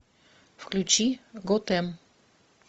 включи готэм